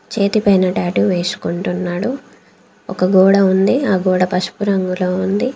చేతి పైన టాటూ వేసుకుంటున్నాడు. ఒక గోడ ఉంది. ఆ గోడ పసుపు రంగులో ఉంది.